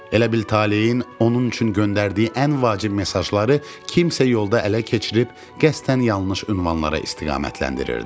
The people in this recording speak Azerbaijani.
Elə bil taleyin onun üçün göndərdiyi ən vacib mesajları kimsə yolda ələ keçirib, qəsdən yanlış ünvanlara istiqamətləndirirdi.